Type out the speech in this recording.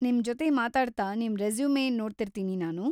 ನಿಮ್ ಜೊತೆ ಮಾತಾಡ್ತಾ ನಿಮ್ ರೆಸುಮೆ ನೋಡ್ತಿರ್ತೀನಿ ನಾನು.